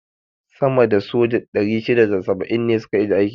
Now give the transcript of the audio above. sama da soja 670 ne su ka ajiye aiki.